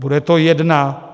Bude to jedna...